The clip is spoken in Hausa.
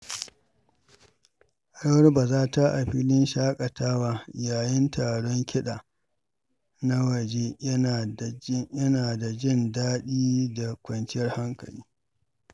Rawar-bazata a filin shaƙatawa yayin taron kiɗa na waje yana da jin daɗi da kwanciyar hankali.